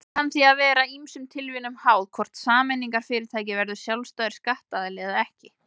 Það kann því að vera ýmsum tilviljunum háð hvort sameignarfyrirtæki verður sjálfstæður skattaðili eða ekki.